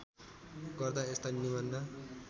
गर्दा यस्ता निबन्ध